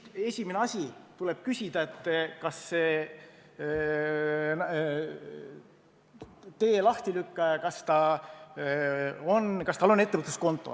Esimene asi, mis tuleb nüüd sellelt tee lahtilükkajalt küsida, on, kas tal on ettevõtluskonto.